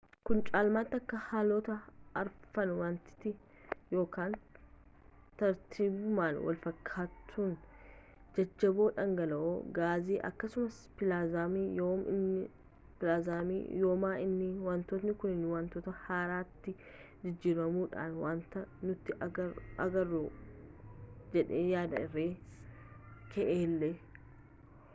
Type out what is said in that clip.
kun caalmaatti akka haalota arfan wantaati tartiibuma walfakkaatuun: jajjaboo dhangala’oo gaasii akkasumas pilaazmaa yooma inni wantoonni kunniin wantoota haaraatti jijjiiramuudhaan wanta nuti agarru uumu jedhee yaad-rimee kaa’e illee